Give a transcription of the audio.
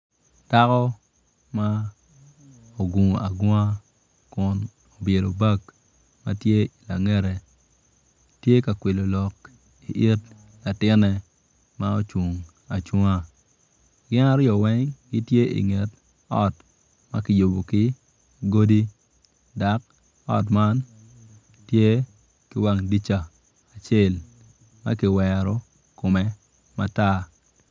Dako ma ogungo agunga kun obyelo bag ma tye ilangete tye ka kwilo lok i it latine ma ocung acunga gin aryo eng gitye inget ot ma kiyubo ki godi dok ot man tye ki wang dirija acel ma kiwero kome matat.